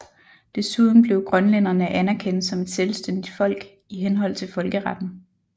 Desuden blev grønlænderne anerkendt som et selvstændigt folk i henhold til folkeretten